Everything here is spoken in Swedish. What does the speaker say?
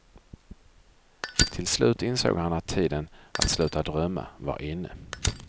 Till slut insåg han att tiden att sluta drömma var inne.